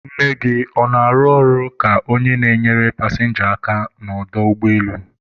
nne gị ọ na-arụ ọrụ ka onye na-enyere pasịnja aka n'ọdọ ụgbọelu?